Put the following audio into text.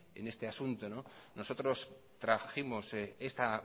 en este asunto nosotros trajimos esta